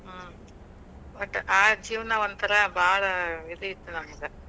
ಹ್ಮ್. ಒಟ್ ಆ ಜೀವ್ನಾ ಒಂಥರಾ ಬಾಳ್ ಇದು ಇತ್ ನಮ್ದ.